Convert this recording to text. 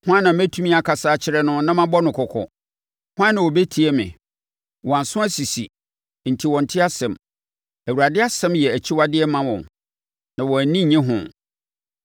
Hwan na mɛtumi akasa akyerɛ no na mabɔ no kɔkɔ? Hwan na ɔbɛtie me? Wɔn aso asisi enti wɔnte asɛm. Awurade asɛm yɛ akyiwadeɛ ma wɔn na wɔn ani nnye ho.